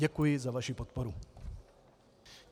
Děkuji za vaši podporu.